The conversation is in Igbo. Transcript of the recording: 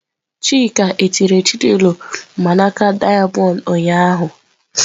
Chika etinyere Chinelo mgbanaka dayamondu ụnyahụ?